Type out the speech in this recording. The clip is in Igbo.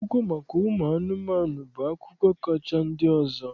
Akụkọ maka ụmụ anụmanụ bụ akụkọ kacha ndị ọzọ.